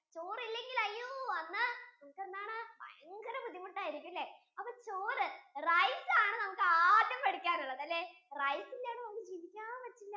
ചോറ് ഇല്ലെങ്കിൽ അയ്യോ അന്ന് നമുക്ക് എന്താണ് ഭയങ്കര ബുദ്ധിമുട്ടു ആയിരിക്കും അല്ലെ അപ്പൊ ചോറ് rice ആണ് നമുക്ക് ആദ്യം പഠിക്കാൻ ഉള്ളതല്ലേ rice ഇല്ലാതെ നമുക്ക് ജീവിക്കാൻ പറ്റില്ല